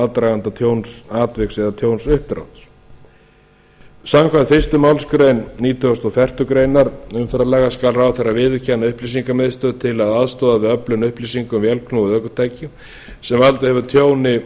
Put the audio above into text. aðdraganda tjónsatviks eða tjónsuppdrátt samkvæmt fyrstu málsgrein nítugasta og fjórðu greinar umferðarlaga skal ráðherra viðurkenna upplýsingamiðstöð til að aðstoða við öflun upplýsinga um vélknúið ökutæki sem valdið hefur tjóni og